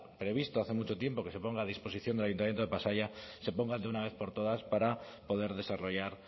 previsto hace mucho tiempo que se ponga a disposición del ayuntamiento de pasaia se pongan de una vez por todas para poder desarrollar